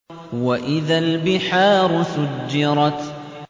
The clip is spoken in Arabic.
وَإِذَا الْبِحَارُ سُجِّرَتْ